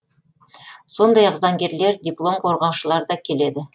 сондай ақ заңгерлер диплом қорғаушылар да келеді